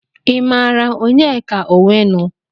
I maara Onyeka Owenu?